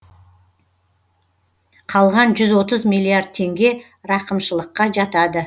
қалған жүз отыз миллиард теңге рақымшылыққа жатады